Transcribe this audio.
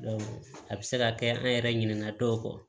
a bɛ se ka kɛ an yɛrɛ ɲinɛ na dɔw kɔ